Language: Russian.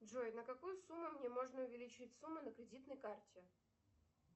джой на какую сумму мне можно увеличить сумму на кредитной карте